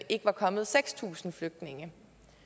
ikke var kommet seks tusind flygtninge